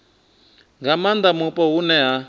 nga maanda mupo hune ha